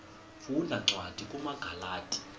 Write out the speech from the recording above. funda cwadi kumagalati